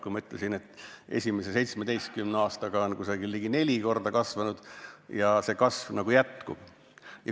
Ma ütlesin, et esimese 17 aastaga on see ligi neli korda kasvanud ja kasv jätkub.